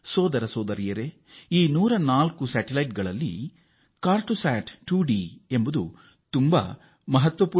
ಸಹೋದರರೇ ಮತ್ತು ಸಹೋದರಿಯರೇ ಈ 104 ಉಪಗ್ರಹಗಳ ಪೈಕಿ ಒಂದು ಅತ್ಯಂತ ಮಹತ್ವದ್ದು